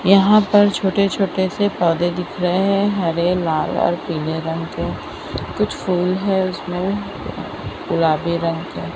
यहां पर छोटे छोटे से पौधे दिख रहे हैं हरे लाल और पीले रंग के कुछ फूल है उसमें गुलाबी रंग के--